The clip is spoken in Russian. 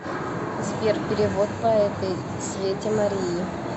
сбер перевод по этой свете марии